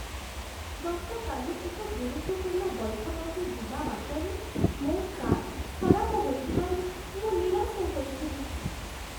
ଗତକାଲି ଏକ ଗୁରୁତ୍ୱପୂର୍ଣ୍ଣ ବୈଠକକୁ ଯିବା ବାଟରେ ମୋ କାର୍ ଖରାପ ହୋଇଯିବାରୁ ମୁଁ ନିରାଶ ହୋଇଥିଲି।